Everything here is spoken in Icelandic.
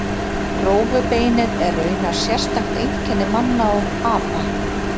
Rófubeinið er raunar sérstakt einkenni manna og apa.